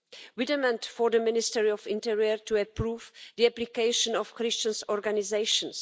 We demand for the Ministry of the Interior to approve the application of Christian organisations.